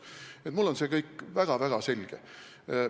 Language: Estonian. Nii et mulle on see kõik väga-väga selge.